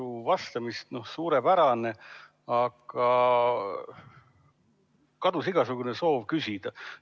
suurepärane, aga kadus igasugune soov küsida.